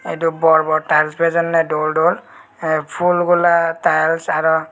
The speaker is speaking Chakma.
edu bor bor tiles bijonne dol dol pool bola tiles aro.